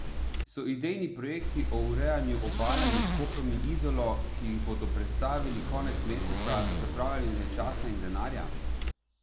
So idejni projekti o urejanju obale med Koprom in Izolo, ki jih bodo predstavili konec meseca, zapravljanje časa in denarja?